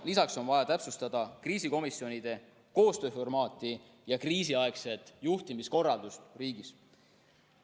Lisaks on vaja täpsustada kriisikomisjonide koostööformaati ja kriisiaegset juhtimiskorraldust riigis.